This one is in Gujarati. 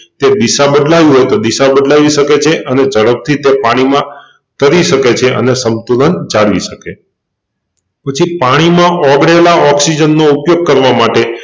તે દિશા બદલાવવી હોય તો દિશા બદલાવી સકે છે અને જડપથી તે પાણીમાં તરી સકે છે અને સંપૂર્ણ ચાલી શકે પછી પાણીમાં ઓગળેલાં ઓક્સિજન નો ઉપયોગ કરવા માટે